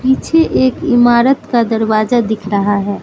पीछे एक इमारत का दरवाजा दिख रहा है।